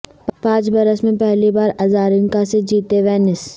پانچ برس میں پہلی بار ازارینکا سے جیتیں وینس